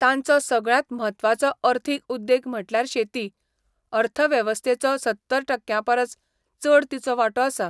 तांचो सगळ्यांत म्हत्वाचो अर्थीक उद्देग म्हटल्यार शेती, अर्थवेवस्थेचो सत्तर टक्क्यांपरस चड तिचो वांटो आसा.